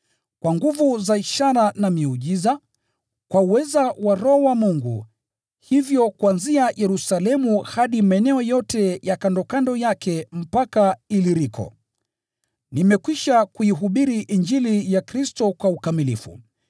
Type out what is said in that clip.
kwa nguvu za ishara na miujiza, kwa uweza wa Roho wa Mungu, hivyo kuanzia Yerusalemu hadi maeneo yote ya kandokando yake mpaka Iliriko, nimekwisha kuihubiri Injili ya Kristo kwa ukamilifu.